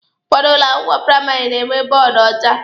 Ụfọdụ ụlọ akwụkwọ praịmarị na-enwe bọọdụ ọcha.